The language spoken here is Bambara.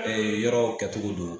Ee yɔrɔwkɛtogo don